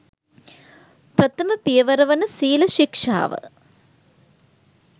ප්‍රථම පියවර වන සීල ශික්ෂාව